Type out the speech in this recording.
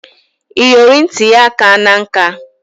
Iyori nit ya akana nka